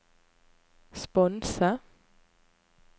sponse